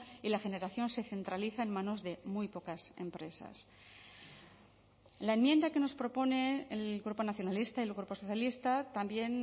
y la generación se centraliza en manos de muy pocas empresas en la enmienda que nos proponen el grupo nacionalista y el grupo socialista también